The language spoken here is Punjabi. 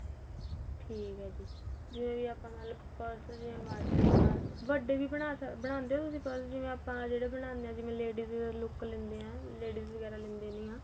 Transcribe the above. ਠੀਕ ਏ ਜੀ ਜੇ ਆਪਾਂ ਨਾਲ ਪੁਰਸੇ ਜਿਵੇਂ ਮਰਜੀ ਆਪਾਂ ਵੱਡੇ ਵੀ ਬਣਾ ਸਕਦੇ ਬਣਾਉਂਦੇ ਓ ਤੁਸੀਂ purse ਜਿਵੇਂ ਆਪਾਂ ਜਿਹੜੇ ਬਣਾਂਦੇ ਆ ਜਿਵੇਂ ladies look ਲੈਂਦੇ ਏ ladies ਵਗੈਰਾ ਲੈਦੇ ਨਿਆਂ